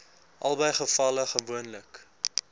albei gevalle gewoonlik